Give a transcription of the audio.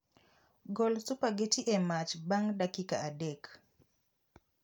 Gol supageti e mach bang' dakika adek